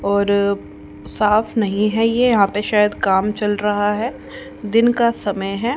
और साफ नहीं है ये यहां पे शायद काम चल रहा है दिन का समय है।